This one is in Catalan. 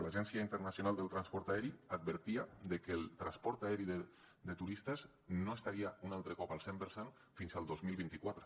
l’agència internacional del transport aeri advertia de que el transport aeri de turistes no estaria un altre cop al cent per cent fins al dos mil vint quatre